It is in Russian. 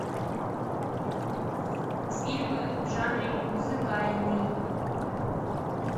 фильмы в жанре музыкальный